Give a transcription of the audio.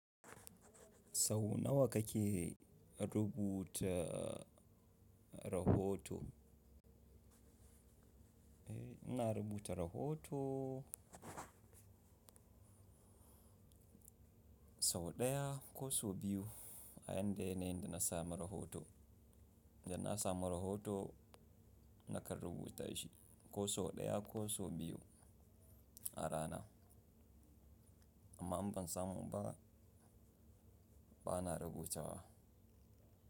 Sau nawa kake rubuta rahoto. Ina rubuta rahoto sau ɗaya ko so biyu a yanda yanayin da na samu rahoto. Da na samu rahoto nakan rubuta shi ko so ɗaya ko so biyu a rana. Amma in ban samu ba bana rubutawa.